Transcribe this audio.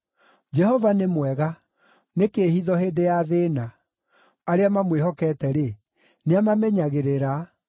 Jehova nĩ mwega, nĩ kĩĩhitho hĩndĩ ya thĩĩna. Arĩa mamwĩhokete-rĩ, nĩamamenyagĩrĩra,